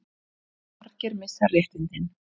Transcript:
Margir missa réttindin